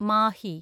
Mahe